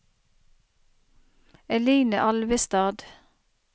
Eline Alvestad